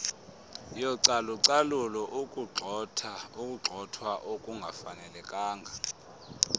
yocalucalulo ukugxothwa okungafanelekanga